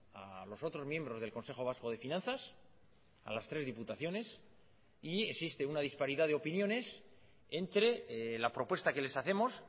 a los otros miembros del consejo vasco de finanzas a las tres diputaciones y existe una disparidad de opiniones entre la propuesta que les hacemos